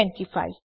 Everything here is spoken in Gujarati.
૨૫